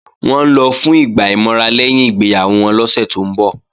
Wọ́n ń lọ fún ìgbà ìmọra lẹ́yìn ìgbéyàwó wọn lọ́sẹ̀ tó ń bọ̀